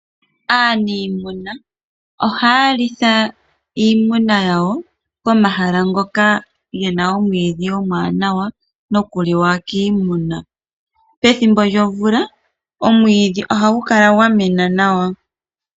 Aaniimuna ohaya litha iimuna yawo pomahala ngoka gena omwiidhi omwanawa nokuliwa kiimuna. Pethimbo lyomvula omwiidhi ohagu kala gwa mena nawa.